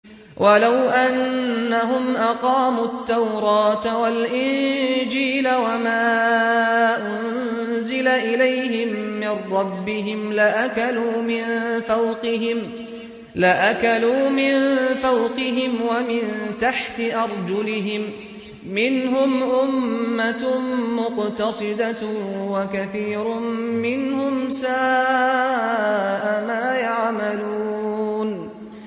وَلَوْ أَنَّهُمْ أَقَامُوا التَّوْرَاةَ وَالْإِنجِيلَ وَمَا أُنزِلَ إِلَيْهِم مِّن رَّبِّهِمْ لَأَكَلُوا مِن فَوْقِهِمْ وَمِن تَحْتِ أَرْجُلِهِم ۚ مِّنْهُمْ أُمَّةٌ مُّقْتَصِدَةٌ ۖ وَكَثِيرٌ مِّنْهُمْ سَاءَ مَا يَعْمَلُونَ